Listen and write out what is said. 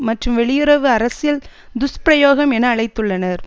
மற்றும் வெளியுறவு அரசியல் துஷ்பிரயோகம் என அழைத்துள்ளனர்